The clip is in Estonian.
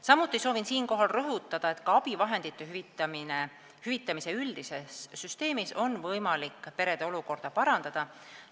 Samuti soovin siinkohal rõhutada, et ka abivahendite hüvitamise üldise süsteemi kaudu on võimalik perede olukorda parandada.